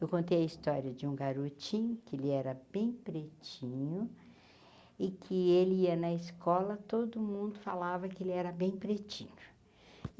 Eu contei a história de um garotinho que ele era bem pretinho e que ele ia na escola, todo mundo falava que ele era bem pretinho.